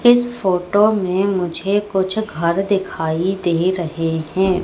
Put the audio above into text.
इस फोटो में मुझे कुछ घर दिखाई दे रहे हैं।